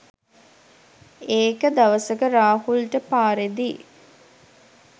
ඒක දවසක රාහුල්ට පාරේදී